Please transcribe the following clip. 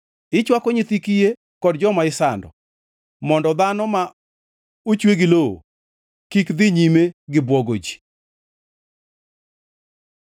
Ichwako nyithi kiye kod joma isando, mondo dhano ma ochwe gi lowo, kik dhi nyime gi bwogo ji.